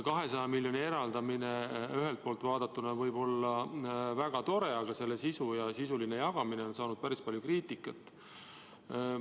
200 miljoni eraldamine ühelt poolt vaadatuna võib olla väga tore, aga selle sisuline jagamine on saanud päris palju kriitikat.